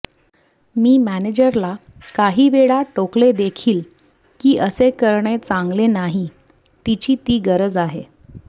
मी मॅनेजरला काहीवेळा टोकलेदेखील की असे करणे चांगले नाही तिची ती गरज आहे